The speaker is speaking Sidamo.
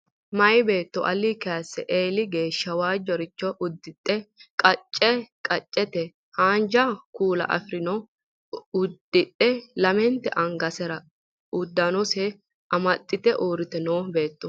Meya beetto alinni kayisse eeli geeshsha waajjoricho uddidhe qacce qaccete haanja kuula afirinoha uddidhe lamente angasinni uddanose amaxxite uurrite noo beettooti